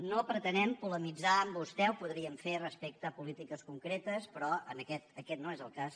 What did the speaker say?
no pretenem polemitzar amb vostè ho podríem fer respecte a polítiques concretes però aquest no és el cas